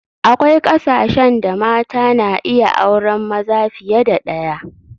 Akwai kasashen da mata na iya auren maza fiye da ɗaya